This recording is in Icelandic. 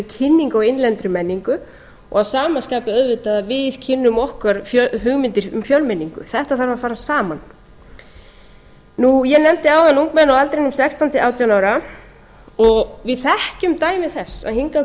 á innlendri menningu og að sama skapi auðvitað að við kynnum okkur hugmyndir um fjölmenningu þetta þarf að fara saman ég nefndi áðan ungmenni á aldrinum sextán til átján ára við þekkjum dæmi þess að hingað